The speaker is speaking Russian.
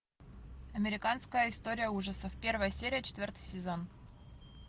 американская история ужасов первая серия четвертый сезон